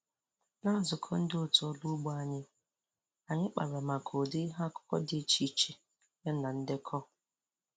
Na nzukọ ndị otu ọrụ ugbo anyị, anyị kpara maka ụdị ihe akụkụ dị iche iche ya na ndekọ